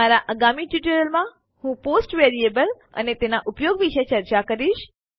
મારા આગામી ટ્યુટોરીયલમાં હું પોસ્ટ વરીએબલ અને તેના ઉપયોગ વિષે ચર્ચા કરીશ